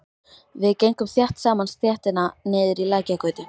Við gengum þétt saman stéttina niður í Lækjargötu.